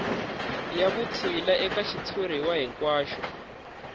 ya vutshila eka xitshuriwa hinkwaxo